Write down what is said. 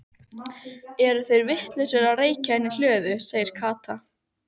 Eru þeir vitlausir að reykja inni í hlöðu? sagði Kata.